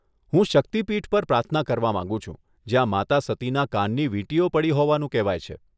હું શક્તિ પીઠ પર પ્રાર્થના કરવા માંગુ છું જ્યાં માતા સતીના કાનની વીંટીઓ પડી હોવાનું કહેવાય છે.